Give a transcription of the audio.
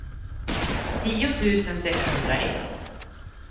tio tusen sexhundraett